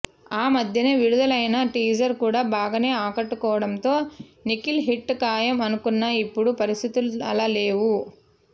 ఆ మధ్యనే విడుదలైన టీజర్ కూడా బాగానే ఆకట్టుకోడంతో నిఖిల్ హిట్ ఖాయం అనుకున్నా ఇప్పుడు పరిస్థితులు అలా లేవు